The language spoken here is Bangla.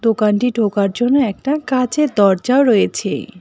দোকানটি ঢোকার জন্য একটা কাঁচের দরজাও রয়েছে।